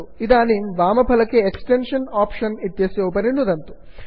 इदानीं वामफलके extension option इत्यस्य उपरि नुदन्तु